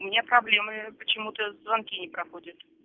у меня проблемы почему-то звонки не проходят